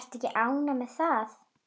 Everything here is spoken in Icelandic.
Ertu ekki ánægð með það?